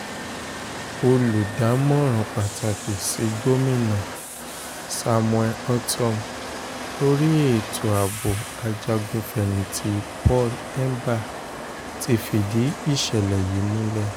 olùdámọ̀ràn pàtàkì sí gomina samuel ortom lórí ètò ààbò ajagun-fẹ̀yìntì paul hemba ti fìdí ìṣẹ̀lẹ̀ yìí múlẹ̀